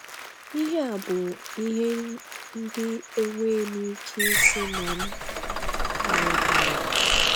Ihe a bụ ihe ndị enweghị m ike ịsị na m aghọtaghị.